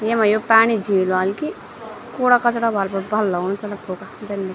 येमा यु पाणी झील वाल की कूड़ा-कचड़ा वाल पर भल लगनु चलो फुका जन भी च।